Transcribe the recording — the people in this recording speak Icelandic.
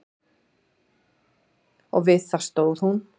Og við það stóð hún.